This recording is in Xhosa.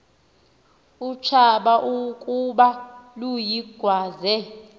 utshaba ukuba luyigwaze